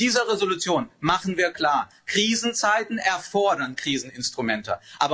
Mit dieser Entschließung machen wir klar Krisenzeiten erfordern Kriseninstrumente.